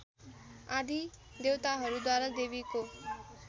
आदि देवताहरूद्वारा देवीको